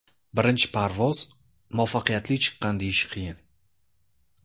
Birinchi parvoz muvaffaqiyatli chiqqan deyish qiyin.